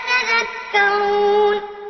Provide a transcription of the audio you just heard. خَلَقَ السَّمَاوَاتِ وَالْأَرْضَ فِي سِتَّةِ أَيَّامٍ ثُمَّ اسْتَوَىٰ عَلَى الْعَرْشِ ۖ يُدَبِّرُ الْأَمْرَ ۖ مَا مِن شَفِيعٍ إِلَّا مِن بَعْدِ إِذْنِهِ ۚ ذَٰلِكُمُ اللَّهُ رَبُّكُمْ فَاعْبُدُوهُ ۚ أَفَلَا تَذَكَّرُونَ